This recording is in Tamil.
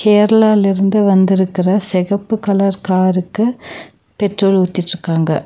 கேரளாலருந்து வந்துருக்குற செகப்பு கலர் காருக்கு பெட்ரோல் ஊத்திச்சிக்காங்க.